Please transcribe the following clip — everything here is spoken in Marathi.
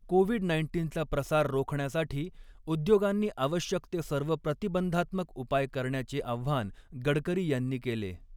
कोविड नाईन्टीनचा प्रसार रोखण्यासाठी उद्योगांनी आवश्यक ते सर्व प्रतिबंधात्मक उपाय करण्याचे आव्हान गडकरी यांनी केले.